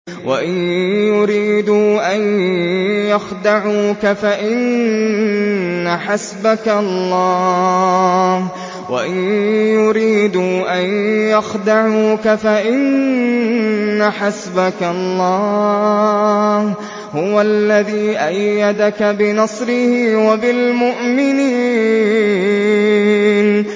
وَإِن يُرِيدُوا أَن يَخْدَعُوكَ فَإِنَّ حَسْبَكَ اللَّهُ ۚ هُوَ الَّذِي أَيَّدَكَ بِنَصْرِهِ وَبِالْمُؤْمِنِينَ